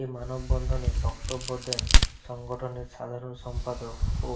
এ মানববন্ধনে বক্তব্য দেন সংগঠনের সাধারণ সম্পাদক ও